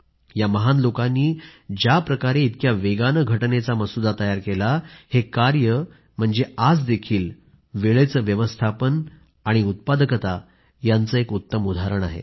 या महान लोकांनी ज्याप्रकारे इतक्या वेगाने घटनेचा मसुदा तयार केला हे कार्य म्हणजे आजही वेळेचे व्यवस्थापन आणि उत्पादकता यांचे एक उत्तम उदाहरण आहे